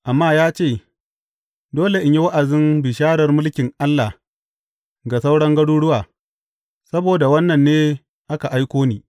Amma ya ce, Dole in yi wa’azin bisharar mulkin Allah ga sauran garuruwa, saboda wannan ne aka aiko ni.